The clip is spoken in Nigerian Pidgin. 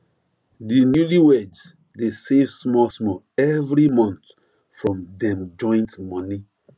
di newlyweds dey save small small every month from dem joint money